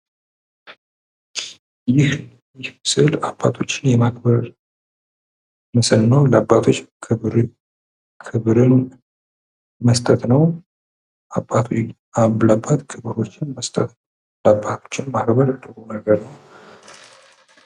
ይህ ስእል አባቶችን የማክበር ምስል ነው:: ለአባቶች ክብርን መስጠት ነው ለአባት ክብር መስጠት አባቶችን ማክበር ጥሩ ነገር ነው::